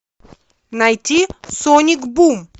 найти соник бум